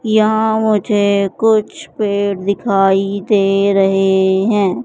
यहां मुझे कुछ पेड़ दिखाई दे रहे हैं।